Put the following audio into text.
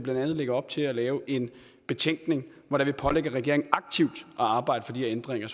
lægger op til at lave en betænkning hvor vi pålægger regeringen aktivt at arbejde for de her ændringer